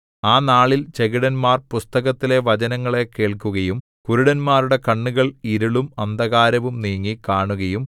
ആ നാളിൽ ചെകിടന്മാർ പുസ്തകത്തിലെ വചനങ്ങളെ കേൾക്കുകയും കരുടന്മാരുടെ കണ്ണുകൾ ഇരുളും അന്ധകാരവും നീങ്ങി കാണുകയും